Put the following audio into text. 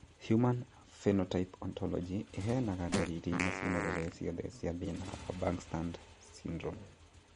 Human Phenotype Ontology ĩheanaga ndariri na cionereria ciothe cia thĩna wa Bangstad syndrome.